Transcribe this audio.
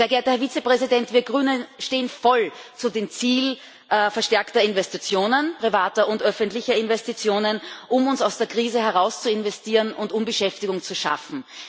Sehr geehrter Herr Vizepräsident, wir Grünen stehen voll zu dem Ziel verstärkter Investitionen, privater und öffentlicher Investitionen, um uns aus der Krise herauszuinvestieren und um Beschäftigung zu schaffen.